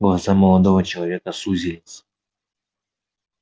глаза молодого человека сузились